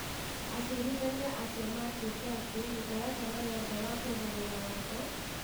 Acirithania acio maatuĩte atĩ, mũtaratara wothe wa kũgarũra Watho,